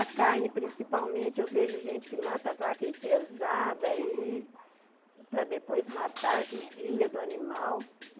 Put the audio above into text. A carne, principalmente, eu vejo gente que mata a vaca enfesada aí para depois matar judia do animal.